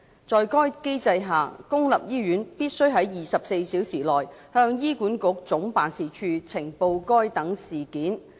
在該機制下，公立醫院必須在24小時內向醫管局總辦事處呈報該等事件。